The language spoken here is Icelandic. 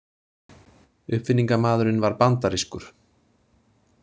Uppfinningamaðurinn var bandarískur.